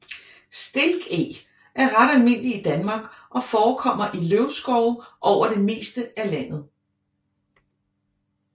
Stilkeg er ret almindelig i Danmark og forekommer i løvskove over det meste af landet